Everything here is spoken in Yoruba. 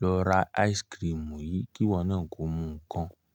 lọ ra ice cream yìí kí wọn náà kó mú ǹkan".